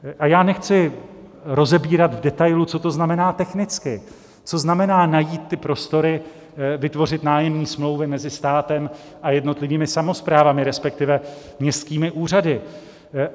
A já nechci rozebírat v detailu, co to znamená technicky, co znamená, najít ty prostory, vytvořit nájemní smlouvy mezi státem a jednotlivými samosprávami, respektive městskými úřady.